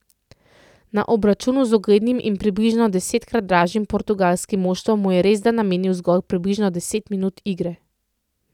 Na obračunu z uglednim in približno desetkrat dražjim portugalskim moštvom mu je resda namenil zgolj približno deset minut igre.